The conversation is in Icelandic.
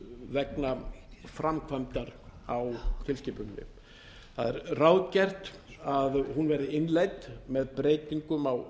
vegna framkvæmdar á tilskipuninni það er ráðgert að hún eða innleidd með breytingum á